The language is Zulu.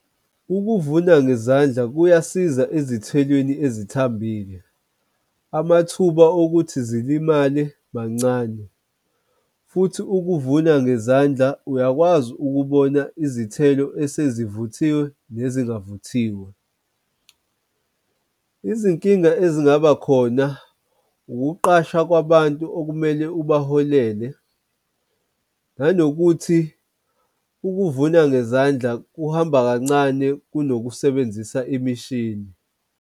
Ukuvuna ngezandla kuyasiza ezithelweni ezithambile. Amathuba okuthi zilimale mancane futhi ukuvuna ngezandla uyakwazi ukubona izithelo esezivuthiwe nezingavuthiwe. Izinkinga ezingaba khona, ukuqasha kwabantu okumele ubaholele, nanokuthi ukuvuna ngezandla kuhamba kancane kunokusebenzisa imishini.